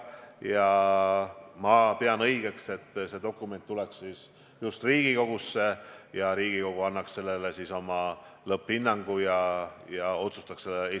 Ja ma pean õigeks, et see dokument "Eesti 2035" tuleks siis just Riigikogusse, kes annaks sellele oma lõpphinnangu ja otsustaks selle üle.